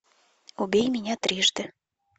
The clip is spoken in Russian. убей меня трижды